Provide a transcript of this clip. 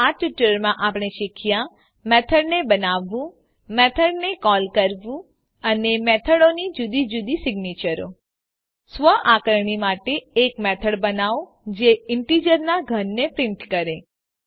તો આ ટ્યુટોરીયલમાં આપણે શીખ્યા મેથડને બનાવવું મેથડને કોલ કરવું અને મેથડોની જુદી જુદી સિગ્નેચરો સ્વઆકારણી માટે એક મેથડ બનાવો જે ઇન્ટીજરનાં ઘનને પ્રીંટ કરે